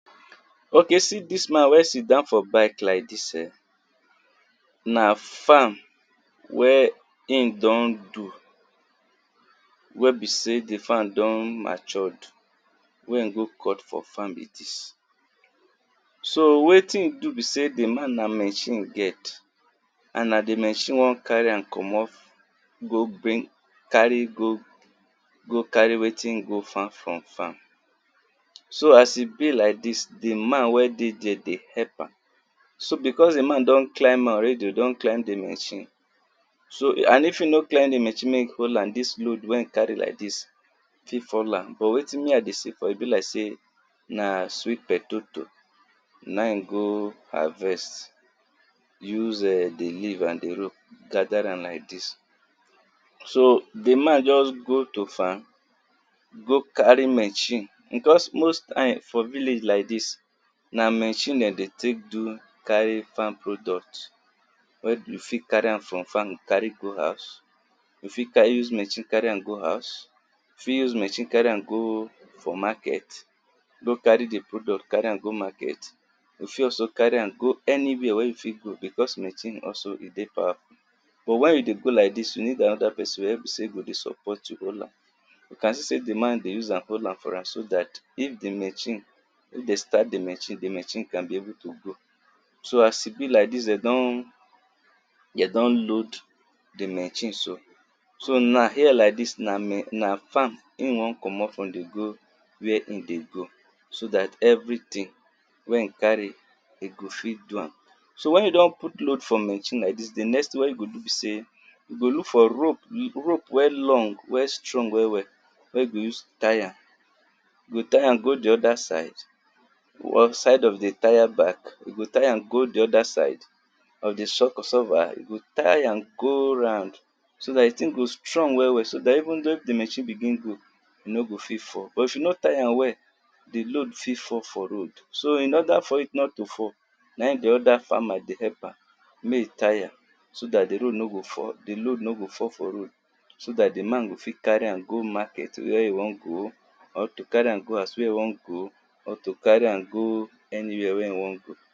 Okay see dis man wen sit down for bikelike dis, na farm wen be sey im don do wen di farm don matured wen in go cut like dis. So wetin in do be sey di man na machine in get and na di machine wan carry am komot, go bring go carry go carry wetin in go farm from farm. So as e be like dis di man wen dey there dey help am, so because di man don climb am already, don climb di machine, so amd if e no climb di machine make e hold am, dis load wen in carry like dis fit fall am, but wetin me I dey see for here, e be like sey na sweet potato na im in go harvest use di leave and di rope gather am like dis so di man just go to farm, go carry machine because most time for village like dis na machine dem dey take do carry farm product. Wey you fit use machine carry am for farm carry go house, you fit use machine carry am go market, you fit also use machine carry go anywhere wen you wan go because machine also e dey powerful but wen you dey go like dis you need another person wen go dey support you to hold am, you can see sey di man dey use am hold am for am so dat if di machine, if dey start di machine di machine can be able to go. So as e be like dis dem don, dem don load di machine so, so here like dis na n a farm im wan komot from dey go where in dey go so dat everything wen in carry im go fit do am. So wen you don put rope for machine like dis di next thing wen you go do be sey, you go look for rope wey wen long wen strong well well, wen you go use tie am, you go tie am go di oda side, side of di tire back, you go tie go di oda side of shock absorber you go tie, you go tie am go round so dat di thing go strong well well, so dat even though if di machine begin go, e no go fit fall but if you nor tie am well di load fit fall for road. So in oda for it not to fall na im di oda farmer dey help am make e tie am so dat di load no go fall, e no go fall for road so dat di man go fit carry am go market wey in wan go, or to carry am go house wen in wan go, or to carry am go anywhere wen in wan go.